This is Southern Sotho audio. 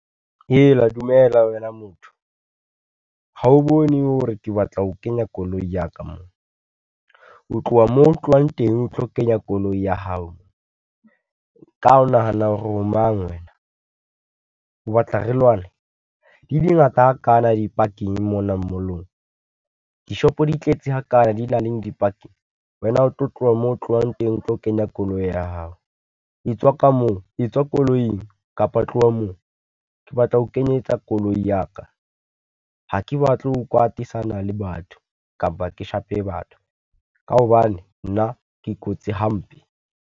Hela dumela wena motho, ha o bone hore ke batla ho kenya koloi ya ka mo. O tloha mo o tlohang teng, o tlo kenya koloi ya hao, ka ho nahana hore o mang wena? O batka re lwane? Di di ngata hakana di-parking mona mall-ong, dishopo di tletse ha kana di nang leng di-parking. Wena o tlo tloha mo o tlohang teng o tlo kenya koloi ya hao, e tswa ka moo etswa koloing, kapa tloha moo, ke batla ho kenyetsa koloi ya ka. Ha ke batle ho kwatisana le batho, kapa ke shape batho, ka hobane nna ke kotsi hampe.